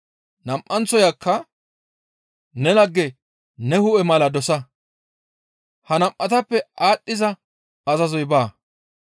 Nam7anththoyka, ‹Ne lagge ne hu7e mala dosa› ha nam7atappe aadhdhiza azazoy baa.»